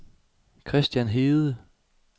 Kristian Hede